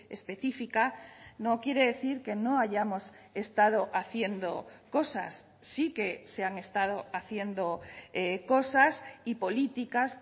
específica no quiere decir que no hayamos estado haciendo cosas sí que se han estado haciendo cosas y políticas